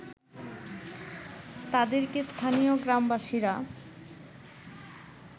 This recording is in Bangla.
তাদেরকে স্থানীয় গ্রামবাসীরা